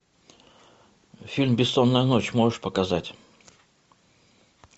фильм бессонная ночь можешь показать